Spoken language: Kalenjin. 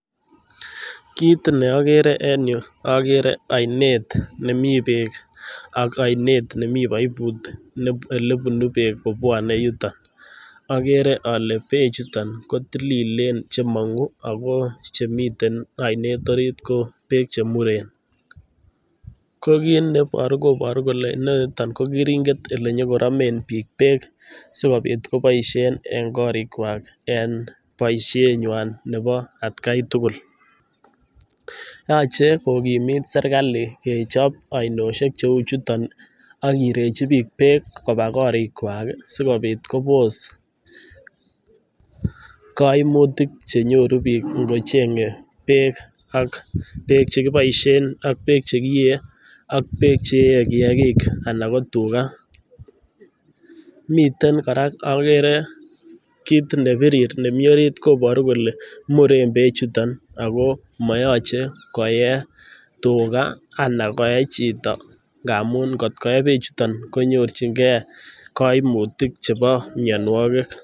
Kit neokere en yu akere ainet nemi beek ak ainet nemi poiput elepun beek kobwone yuto akere ale bechuton kotililen chemong'u ako chemiten ainet orit koo beek chemuren, kokit neboru koboru kole inenito ko keringet elenyokoromen biik beek sikopit koboisien en korikwak en boisienywany nepo atkai tugul yoche kokimit serikal kechop ainosiek cheu chuto akirechi biik beek kopaa korikwa sikopit kobos koimutik chenyoru biik ngochenge beek ak beek chekiboisien, ak beek chekiyee, ak beek cheee kiyakik ana ko tuka, Miten kora akere kit nebirir nemi orit koboru kole muren beechuto ako moyoche koye tuka ana koe chito ngamun ngot koe bechuto konyorchingee koimutik chepo minianwokik.